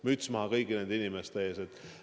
Müts maha kõigi nende inimeste ees!